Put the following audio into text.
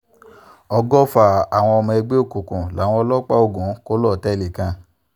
ọgọ́fà àwọn ọmọ ẹgbẹ́ òkùnkùn làwọn ọlọ́pàá ogun kò lọ́tẹ̀ẹ̀lì kan